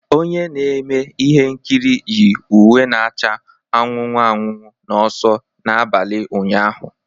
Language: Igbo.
Onye na-eme ihe nkiri yi uwe na-acha anụnụ anụnụ n'ọsọ n'abalị ụnyaahụ